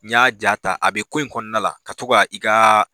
N y'a ja ta a bɛ ko in kɔnɔna la ka to i ka